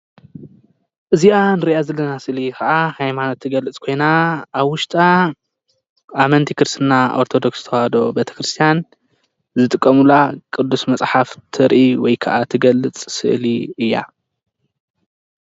እዚኣ ንሪኣ ዘለና ኸዓ ሃይማኖት ትገልፅ ኾይና ኣብ ውሽጣ ኣመንቲ ክርስትና ኦርቶዶክስ ተዋህዶ ቤተክርስትያን ዝጥቀሙላ ቅዱስ መፅሓፍ ተርኢ ወይ ከዓ ትገልፅ ስእሊ እያ ።